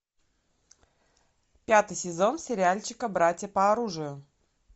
пятый сезон сериальчика братья по оружию